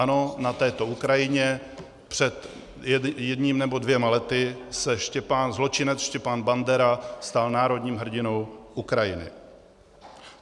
Ano, na této Ukrajině před jedním nebo dvěma lety se zločinec Stepan Bandera stal národním hrdinou Ukrajiny.